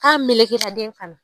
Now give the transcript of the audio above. K'a melekera den kanna.